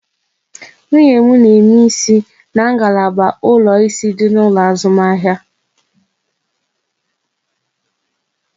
Nwunye m n'eme isi ya n'ngalaba ụlọ ịsị dị n'ụlọ azụmahịa